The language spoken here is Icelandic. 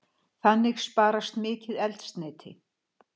Þannig sparast mikið eldsneyti.